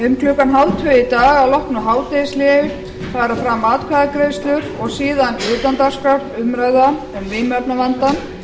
um klukkan hálftvö í dag að loknu hádegishléi fara fram atkvæðagreiðslur og síðan utandagskrárumræða um vímuefnavandann